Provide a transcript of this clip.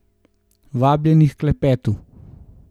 Vabljeni h klepetu.